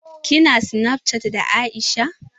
Ki na snapchatting da Aisha?